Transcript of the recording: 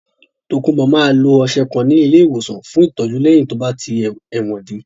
Tokunbo máa lo ọ̀sẹ̀ kan ní ilé ìwòsàn fún ìtọ́jú lẹ́yìn tí ó bá tí ẹ̀wọ̀n dé.